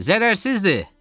Zərərsizdir!